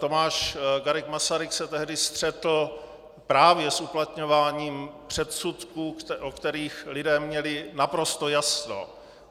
Tomáš Garrigue Masaryk se tehdy střetl právě s uplatňováním předsudků, o kterých lidé měli naprosto jasno.